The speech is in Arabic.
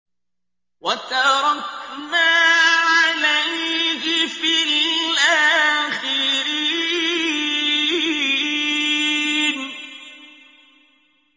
وَتَرَكْنَا عَلَيْهِ فِي الْآخِرِينَ